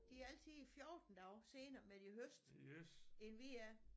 De er altid 14 dage senere med de højeste end vi er